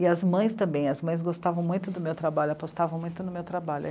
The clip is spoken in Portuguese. E as mães também, as mães gostavam muito do meu trabalho, apostavam muito no meu trabalho.